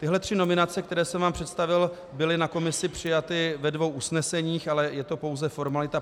Tyhle tři nominace, které jsem vám představil, byly na komisi přijaty ve dvou usneseních, ale je to pouze formalita.